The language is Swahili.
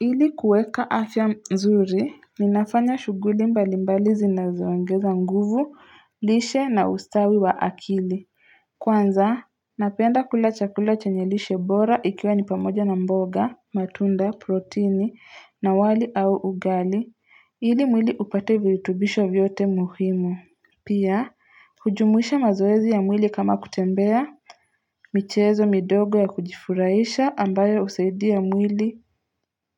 Ili kueka afya nzuri, ninafanya shughuli mbali mbali zinazo ongeza nguvu, lishe na ustawi wa akili. Kwanza, napenda kula chakula chenye lishe bora ikiwa ni pamoja na mboga, matunda, protini, na wali au ugali, ili mwili upate vihutubisho vyote muhimu. Pia, hujumuisha mazoezi ya mwili kama kutembea, michezo midogo ya kujifuraisha ambayo usaidia mwili